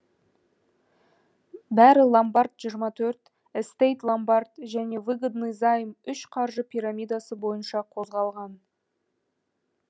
бәрі ломбард жиырма төрт эстейт ломбард және выгодный займ үш қаржы пирамидасы бойынша қозғалған